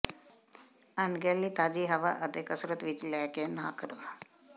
ਅਣਗਹਿਲੀ ਤਾਜ਼ੀ ਹਵਾ ਅਤੇ ਕਸਰਤ ਵਿਚ ਲੈ ਕੇ ਨਾ ਕਰੋ